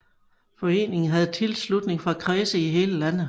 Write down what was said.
Foreningen havde tilslutning fra kredse i hele landet